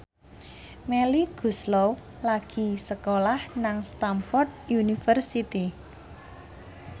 Melly Goeslaw lagi sekolah nang Stamford University